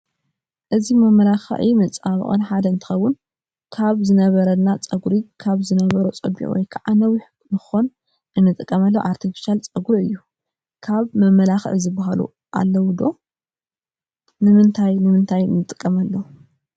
እዚ ካብ መመላክዕም መፀባበቅን ሓደ እንትከው ዝቲ ዝነበረና ፀጉሪ ካብ ዝነበሮ ፀቢቁ ወይ ከዓ ነዊሕ ንክኮን እንጥቀመሉ ኣርቴፍሻል ፀጉሪ እዩ። ካብ መመላካክዒ ዝበሃሉ ኣለው ዶ ? ንምንታይ ንምንታይ ንጥቀመሎም?